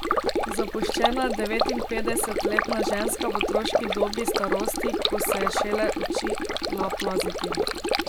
Zapuščena devetinpetdesetletna ženska v otroški dobi starosti, ko se je šele učila plaziti.